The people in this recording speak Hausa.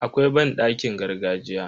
Akwai banɗakin gargajiya.